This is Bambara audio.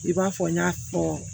I b'a fɔ n y'a fɔ